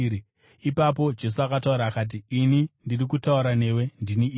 Ipapo Jesu akataura akati, “Ini ndiri kutaura newe ndini iye.”